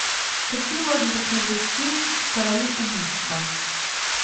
какие можно посмотреть фильм короли убийства